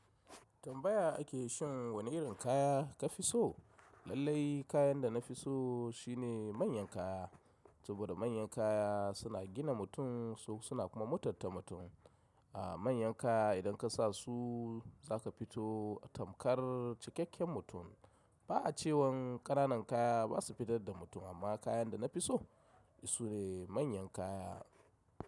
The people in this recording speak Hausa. Tambaya ake shin wani irin kaya ka fi so? Lallai kayan da na fi so shine manyan kaya. Saboda manyan kaya suna gina mutum, suna kuma mutunta mutum. A manyan kaya idan ka sa su za ka fito a tamkar cikakken mutum. Ba cewan ƙananan kaya ba su fitar da mutum amma kayan da na fi so, su ne manyan kaya.